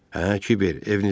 Hə, Kiber, evinizə get.